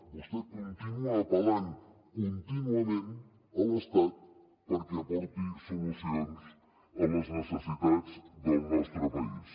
vostè continua apel·lant contínuament a l’estat perquè aporti solucions a les necessitats del nostre país